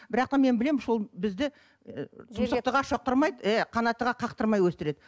бірақтан мен білемін что бізді ы тұмсықтыға шоқтырмайды иә қанаттыға қақтырмай өсіреді